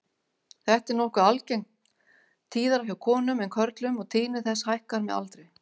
Þetta er nokkuð algengt, tíðara hjá konum en körlum og tíðni þess hækkar með aldri.